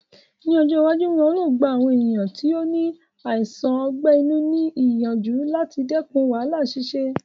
Ní ọjọ́ iwájú, wọn yóò gba àwọn ènìyàn tí ó ní àìsàn ọgbẹ́ inú ní ìyànjú láti dẹkùn wàhálà ṣíṣe